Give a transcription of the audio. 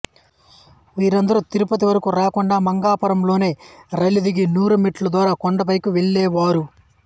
వీరందరు తిరుపతి వరకు రాకుండా మంగాపురం లోనె రైలు దిగి నూరు మెట్ల ద్వారా కొండపైకి వెళ్లే వారు